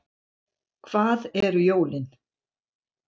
Hvað eru jólin